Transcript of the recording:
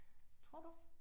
Tror du?